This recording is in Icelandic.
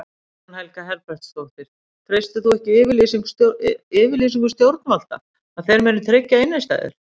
Guðný Helga Herbertsdóttir: Treystir þú ekki yfirlýsingum stjórnvalda að þeir muni tryggja innistæður?